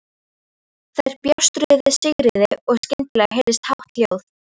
Þær bjástruðu við Sigríði og skyndilega heyrðist hátt hljóð.